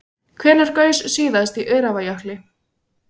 Hvenær gaus síðast í Öræfajökli?